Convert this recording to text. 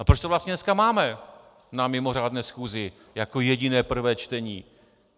A proč to vlastně dneska máme na mimořádné schůzi jako jediné prvé čtení!